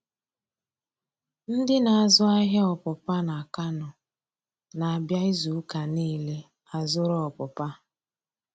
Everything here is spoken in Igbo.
Ndị na-azụ ahịa ọpụpa na Kano na-abịa izu ụka niile a zụrụ ọpụpa.